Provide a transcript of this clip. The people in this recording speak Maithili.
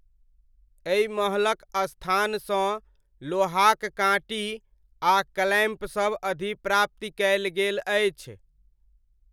एहि महलक स्थानसँ लोहाक काँटी आ क्लैम्पसब अधिप्राप्ति कयल गेल अछि।